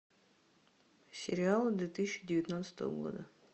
сериалы две тысячи девятнадцатого года